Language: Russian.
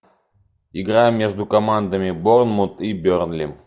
игра между командами борнмут и бернли